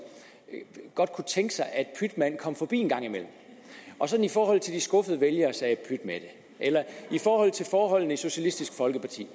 godt kunne tænke sig at pytmand kom forbi en gang imellem og sådan i forhold til de skuffede vælgere sagde pyt med det eller i forhold til forholdene i socialistisk folkeparti